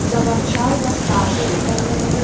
заворчал восставший